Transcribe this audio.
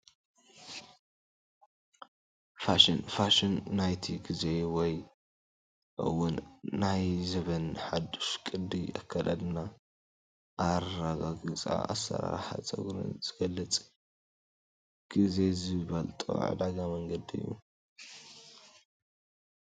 ፋሽን፡-ፋሽን ናይቲ ጊዜ ወይ እውን ናይ ዘበን ሓዱሽ ቅዲ ኣከዳድና ፣ ኣራግፃን ኣሰራርሓ ፀጉርን ዝገልፅ ጊዜ ዝጠልቦ ዕዳጋ መንገዲ እዩ፡፡